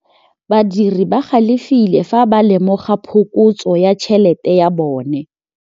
Badiri ba galefile fa ba lemoga phokotsô ya tšhelête ya bone.